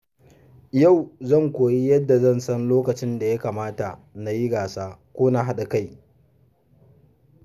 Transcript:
Yau zan koyi yadda zan san lokacin da ya kamata na yi gasa ko na haɗa kai.